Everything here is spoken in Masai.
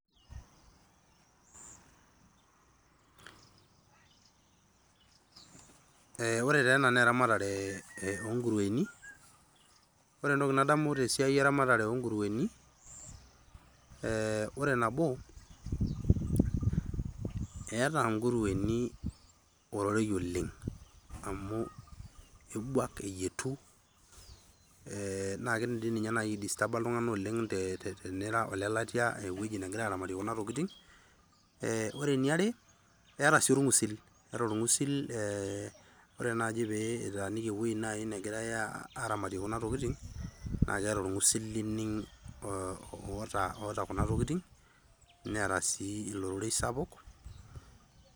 Ore taa ena naa eramatare onkurueni ore entoki nadamu tesiai eramatare onkurueni naa eh, ore nabo eeeta nkurueni ororei oleng' amu ebuak eyietu eh, naa kidim dii ninye naaji ae distaaba iltung'anak oleng tenira olelatia ewueji negirae aramatie kuna tokitin eh, ore eniare eeta sii orng'usil eeta orng'usil eh, ore naaji pitaaniki ewueji naaji negirae aramatie kunatokitin naa keeta orng'usil lining' oota kuna tokitin neeta sii ororei sapuk.